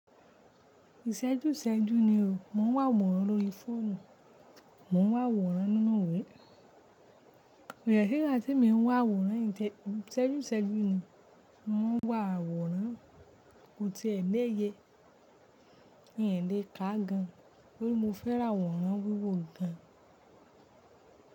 Ìṣẹ́jú ìṣẹ́jú ni o, mò ń wo àwòrán lórí fóònù, mò ń wo àwòrán nínú ìwé. Lkovde sigba te mi ń wá àwòrán n temi ìṣẹ́jú ìṣẹ́jú ni, mò ń wá àwòrán, kò tíì ẹ lè ye, n ẹ lè ká gan-an. Bí mo fẹ́ rà àwòrán wíwo gan-an.